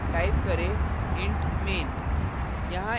type करें int main